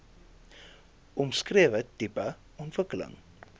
omskrewe tipe ontwikkeling